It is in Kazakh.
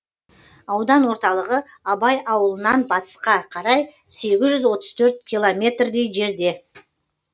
аудан орталығы абай ауылынан батысқа қарай сегіз жүз отыз төрт километрдей жерде